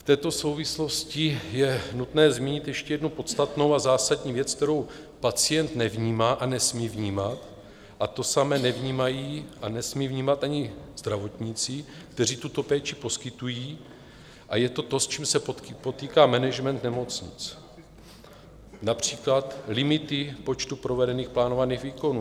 V této souvislosti je nutné zmínit ještě jednu podstatnou a zásadní věc, kterou pacient nevnímá a nesmí vnímat, a to samé nevnímají a nesmí vnímat ani zdravotníci, kteří tuto péči poskytují, a je to to, s čím se potýká management nemocnic - například limity počtu provedených plánovaných výkonů.